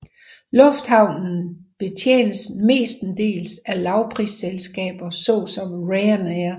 Lufthavnen betjenes mestendels af lavprisselskaber såsom Ryan Air